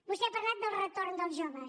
vostè ha parlat del retorn dels joves